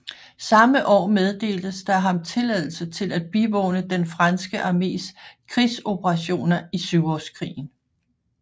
Samme år meddeltes der ham tilladelse til at bivåne den franske armés krigsoperationer i Syvårskrigen